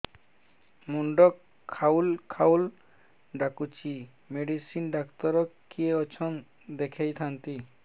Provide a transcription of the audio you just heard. ମୁଣ୍ଡ ଖାଉଲ୍ ଖାଉଲ୍ ଡାକୁଚି ମେଡିସିନ ଡାକ୍ତର କିଏ ଅଛନ୍ ଦେଖେଇ ଥାନ୍ତି